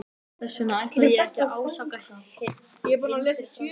Þess vegna ætla ég ekki að ásaka Hind fyrir framhjáhald.